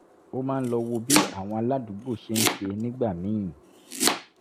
ó máa ń lọ wo bí àwọn aládùúgbò ṣe ń ṣe nígbà míì